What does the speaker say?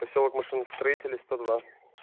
посёлок машиностроителей сто два